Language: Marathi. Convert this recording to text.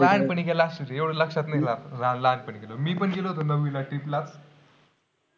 लहानपणी गेला असशील रे. एवढं लक्षात नाही राहत. ल लहानपणी गेलो. मी पण गेलो होतो नववीला trip ला .